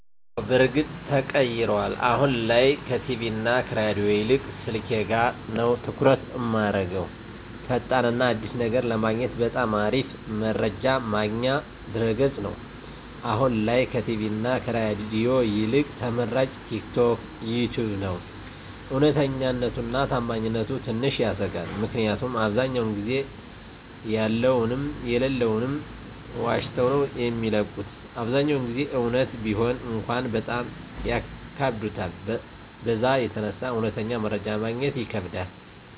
አወ በርግጥ ተቀይሯል አሁን ላይ ከቲቪ እና ከሬዲዮ ይልቅ ስልኬ ጋ ነዉ ትኩረት እማረገዉ። ፈጣን እና አዲስ ነገር ለማግኘት በጣም አሪፍ መረጃ ማግኛ ድረገፅ ነዉ፣ አሁን ላይ ከቲቪ እና ከሬዲዮ ይልቅ ተመራጭ ቲክቶክ፣ ዩተዩብ ነዉ። እዉነተኛነቱ እና ታማኝነቱ ትንሽ ያሰጋል ምክኒያቱም አብዛዉ ጊዜ ያለዉንም የለለዉንም ዋሽተዉ ነዉ የሚለቁት አብዛኛዉን ጊዜ እዉነት ቢሆን እንኳን በጣም ያካብዱታል በዛ የተነሳ እዉነተኛ መረጃ ማግኘት ይከብዳል።